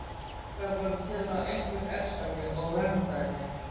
Mig langaði bara til að einhver elskaði mig og verndaði.